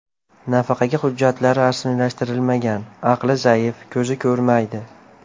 Nafaqaga hujjatlar rasmiylashtirilmagan, aqli zaif, ko‘zi ko‘rmaydi.